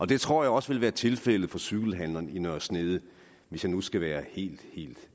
det tror jeg også vil være tilfældet for cykelhandleren i nørre snede hvis jeg nu skal være helt helt